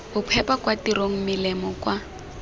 bophepa kwa tirong melemo kwa